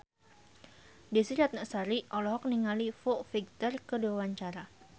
Desy Ratnasari olohok ningali Foo Fighter keur diwawancara